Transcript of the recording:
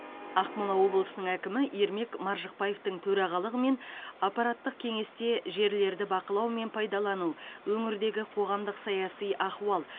ақмола облысының әкімі ермек маржықпаевтың төрағалығымен аппараттық кеңесте жерлерді бақылау мен пайдалану өңірдегі қоғамдық саяси ахуал